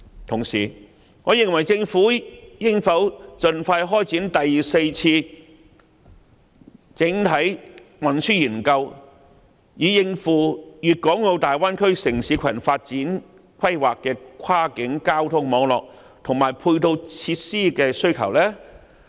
同時，政府應否盡快開展第四次整體運輸研究，以應付《粵港澳大灣區城市群發展規劃》的跨境交通網絡，以及配套設施的需求呢？